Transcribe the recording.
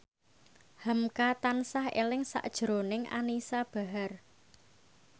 hamka tansah eling sakjroning Anisa Bahar